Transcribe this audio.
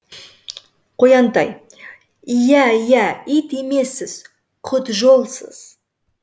қоянтай иә иә ит емессіз құтжолсыз